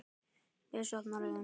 Bjössi opnar augun.